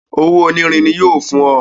Owó onírin ní yóò fún ọ